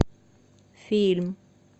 фильм